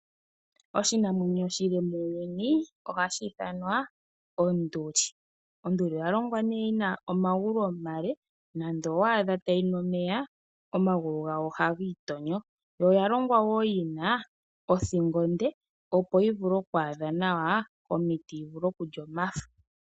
Oshinamweyo oshile muuyuni ohashi ithanwa onduli . Onduli oya longwa nee yina omagulu omale ,nando waadha tayi nu omeya ,omagulu gayo oha giitonyo . Yo oya longwa woo yina ,othingo onde ,opo yi vule oku adha nawa omiti ,yi vule okulya omafo .